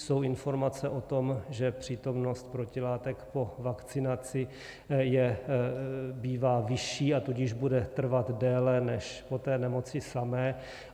Jsou informace o tom, že přítomnost protilátek po vakcinaci bývá vyšší, a tudíž bude trvat déle než po té nemoci samé.